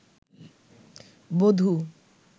বধূ